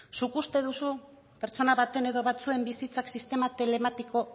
zuek uste duzu pertsona baten edo batzuen bizitza sistema telematiko